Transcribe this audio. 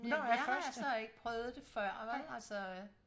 Men jeg har altså ikke prøvet det før vel altså øh